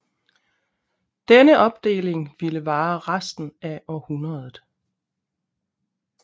Denne opdeling ville vare resten af århundredet